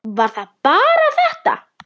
Var það bara þetta?